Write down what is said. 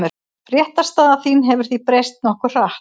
Réttarstaðan hefur því breyst nokkuð hratt.